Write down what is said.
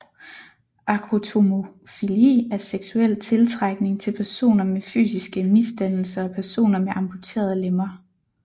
Acrotomofili er seksuel tiltrækning til personer med fysiske misdannelser og personer med amputerede lemmer